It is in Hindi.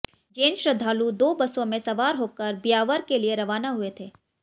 जैन श्रद्धालु दो बसों में सवार होकर ब्यावर के लिए रवाना हुए थे